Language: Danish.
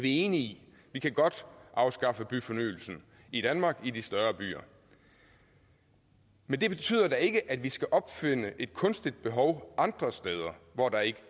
enige i vi kan godt afskaffe byfornyelsen i danmark i de større byer men det betyder da ikke at vi skal opfinde et kunstigt behov andre steder hvor der ikke